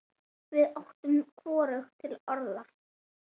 Við áttum hvorugt til orð.